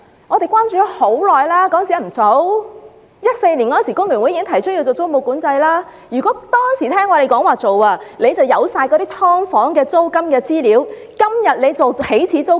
工聯會早在2014年已建議實施租務管制，如果政府當時聽從我們的建議，政府現在便有全部"劏房"的租金資料，今天便能訂定起始租金。